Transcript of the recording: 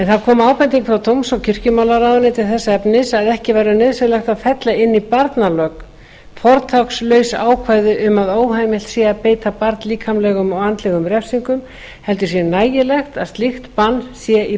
það kom ábending frá dóms og kirkjumálaráðuneyti þess efnis að ekki væri nauðsynlegt að fella inn í barnalög fortakslaus ákvæði um að óheimilt sé að beita barn líkamlegum og andlegum refsingum heldur sé nægilegt að slíkt bann sé í